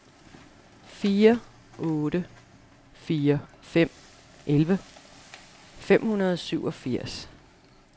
fire otte fire fem elleve fem hundrede og syvogfirs